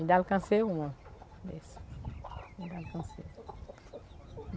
Ainda alcancei uma dessa.